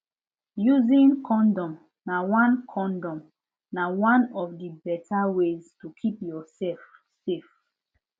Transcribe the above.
using condom na one condom na one of the better way to keep yourself safe